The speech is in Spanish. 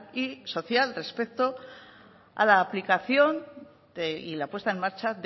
y social respecto a la aplicación y la puesta en marcha